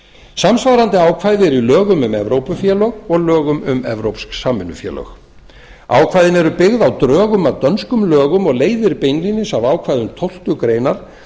samsvarandi ákvæði eru í lögum um evrópufélög og lögum um evrópsk samvinnufélög ákvæðin eru byggða á drögum að dönskum lögum og leiðir beinlínis af ákvæðum tólftu greinar